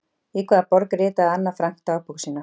Í hvaða borg ritaði Anna Frank dagbók sína?